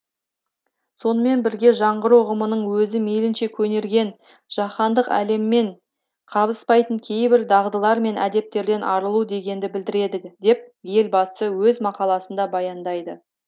сонымен бірге жаңғыру ұғымының өзі мейлінше көнерген жаһандық әлеммен қабыспайтын кейбір дағдылар мен әдеттерден арылу дегенді білдіреді деп елбасы өз мақаласында баяндайды